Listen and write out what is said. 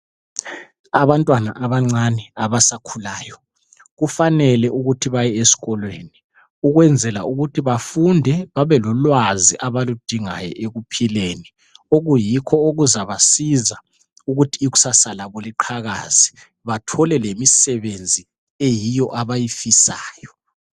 Abantwana abancane abasakhulayo kufanele ukuthi baye esikolweni ukwenzela ukuthi bafunde, babelolwazi abaludingayo ekuphileni okuyikho okuzabasiza ukuthi ikusasa labo liqhakaze bathole imisebenzi eyiyo abayifisayo.